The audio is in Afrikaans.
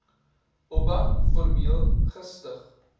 oba formeel gestig